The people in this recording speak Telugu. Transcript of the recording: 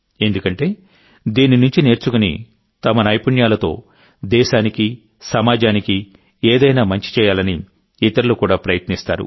ఎందుకంటే దీని నుంచి నేర్చుకుని తమ నైపుణ్యాలతో దేశానికి సమాజానికి ఏదైనా మంచి చేయాలని ఇతరులు కూడా ప్రయత్నిస్తారు